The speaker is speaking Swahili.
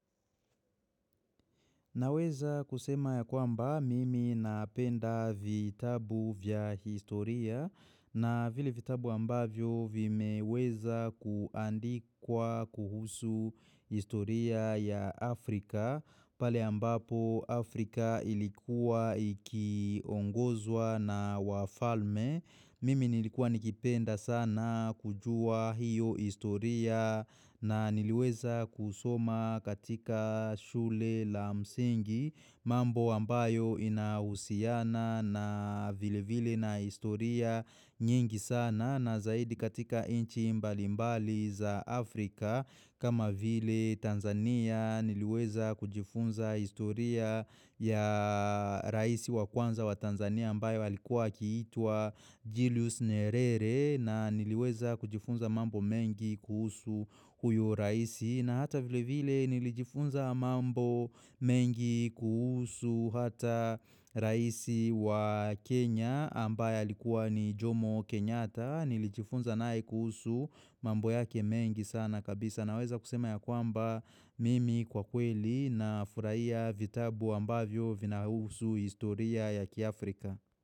Naweza kusema ya kwamba mimi napenda vitabu vya historia na vile vitabu ambavyo vimeweza kuandikwa kuhusu historia ya Afrika. Pale ambapo Afrika ilikuwa iki ongozwa na wafalme. Mimi nilikuwa nikipenda sana kujua hiyo istoria na niliweza kusoma katika shule la msingi. Mambo ambayo inahusiana na vile vile na istoria nyingi sana na zaidi katika inchi mbalimbali za Afrika. Kama vile Tanzania niliweza kujifunza historia ya raisi wa kwanza wa Tanzania ambayo alikuwa akiitwa Julius Nerere na niliweza kujifunza mambo mengi kuhusu huyo raisi. Na hata vile vile nilijifunza mambo mengi kuhusu hata raisi wa Kenya ambaye alikuwa ni Jomo Kenyata nilijifunza naye kuhusu mambo yake mengi sana kabisa na weza kusema ya kwamba mimi kwa kweli na furaia vitabu ambavyo vinauhusu historia ya kiafrika.